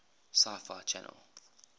sci fi channel